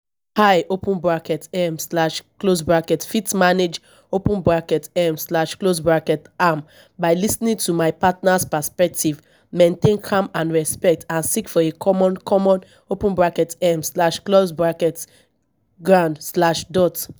i open bracket um slash close bracket fit manage open bracket um slash close bracket am by lis ten ing to my partner's perspective maintain calm and respect and seek for a common common open bracket um slash close bracket ground slash dot